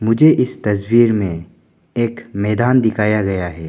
मुझे इस तस्वीर में एक मैदान दिखाया गया है।